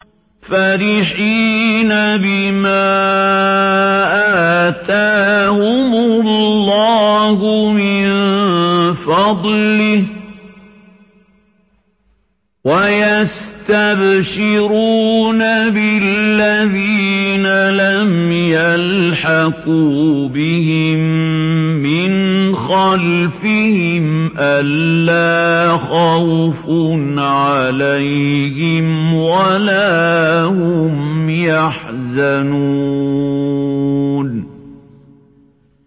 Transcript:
فَرِحِينَ بِمَا آتَاهُمُ اللَّهُ مِن فَضْلِهِ وَيَسْتَبْشِرُونَ بِالَّذِينَ لَمْ يَلْحَقُوا بِهِم مِّنْ خَلْفِهِمْ أَلَّا خَوْفٌ عَلَيْهِمْ وَلَا هُمْ يَحْزَنُونَ